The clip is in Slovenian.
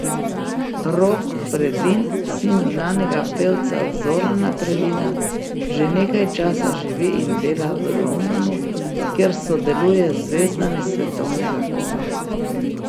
Rok Predin, sin znanega pevca Zorana Predina, že nekaj časa živi in dela v Londonu, kjer sodeluje z zvezdami svetovnega kova.